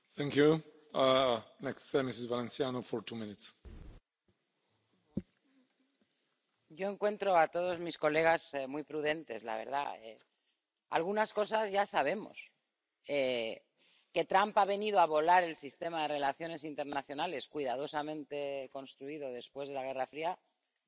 Señor presidente, yo encuentro a todos mis colegas muy prudentes, la verdad. Algunas cosas ya sabemos que Trump ha venido a volar el sistema de relaciones internacionales, cuidadosamente construido después de la Guerra Fría, ya lo sabemos, ya ha sucedido